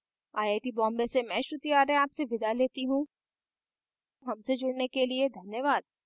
I I T Bombay से मैं श्रुति आर्य आपसे विदा लेती हूँ हमसे जुड़ने के लिए धन्यवाद